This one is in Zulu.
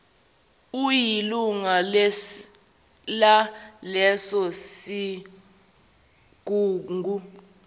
uyilunga laleso sigungu